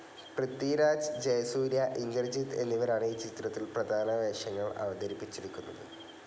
പൃഥ്വിരാജ്, ജയസൂര്യ, ഇന്ദ്രജിത്ത് എന്നിവരാണ് ഈ ചിത്രത്തിൽ പ്രധാനവേഷങ്ങൾ അവതരിപ്പിച്ചിരിക്കുന്നത്.